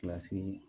Kilasi